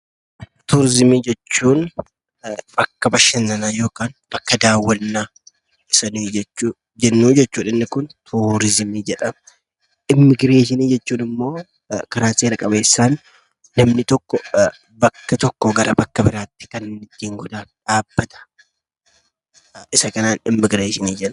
Turiizimii jechuun bakka bashannanaa yookaan bakka daawwannaa isa jennu jechuudha. Kun turiizimii jedhama. Immigireeshinii jechuun immoo laraa seera qabeessaan namni tokko bakka tokkoo bakka biraatti demuudhaaf kan gargaaru dhaabbata isa kanaan immigireeshinii jenna.